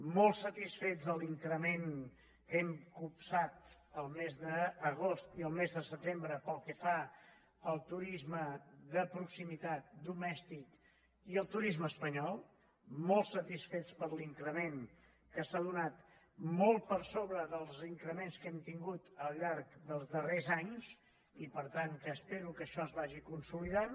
molt satisfets de l’increment que hem copsat el mes d’agost i el mes de setembre pel que fa al turisme de proximitat domèstic i al turisme espanyol molt satisfets per l’increment que s’ha donat molt per sobre dels increments que hem tingut al llarg dels darrers anys i per tant espero que això es vagi consolidant